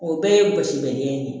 O bɛɛ ye basi bɛ ɲɛ